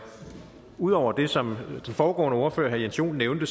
ud over det som den foregående ordfører herre jens joel nævnte